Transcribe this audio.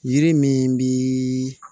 Yiri min bi